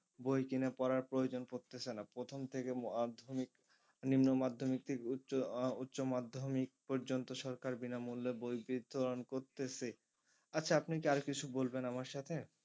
বই কিনে পড়ার প্রয়োজন পড়তেছে না প্রথম থেকে madhyamik নিম্ন madhyamik থেকে উচ্চ আহ উচ্চ madhyamik পর্যন্ত সরকার বিনামূল্যে বই বিতরণ করতেছে আচ্ছা আপনি কি আর কিছু বলবেন আমার সাথে?